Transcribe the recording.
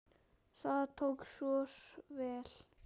Það tókst svona vel.